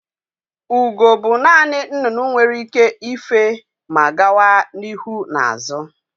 Ugo bụ naanị nnụnụ nwere ike ife ma gawa n'ihu na azụ